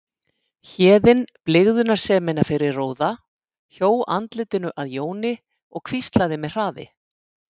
Héðinn blygðunarsemina fyrir róða, hjó andlitinu að Jóni og hvíslaði með hraði